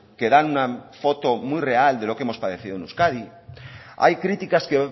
que dan una foto muy real de lo que hemos padecido en euskadi hay críticas que